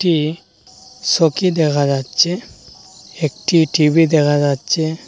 ই সোকি দেখা যাচ্ছে একটি টি_ভি দেখা যাচ্ছে।